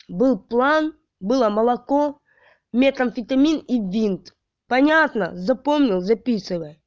был план было молоко метамфетамин и винт понятно запомнил записывай